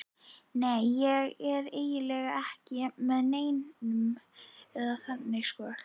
Nei, ég er eiginlega ekki með neinum, eða þannig sko.